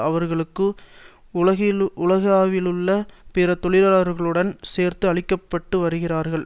அவர்களும் உலகளவிலுள்ள பிற தொழிலாளர்களுடன் சேர்த்து அழிக்க பட்டு வருகிறார்கள்